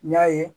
N y'a ye